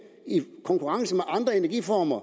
i konkurrence med andre energiformer